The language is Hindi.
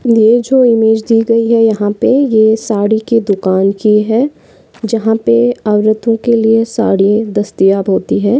ये जो इमेज दिख रही है यहाँ पे ये साड़ी की दुकान की है जहा पे औरतों के लिए साड़िया दस्तायाब होती है।